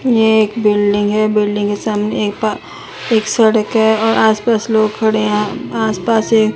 यह एक बिल्डिंग है बिल्डिंग के सामने एक पा एक सड़क है और आस पास लोग खड़े है आस पास एक --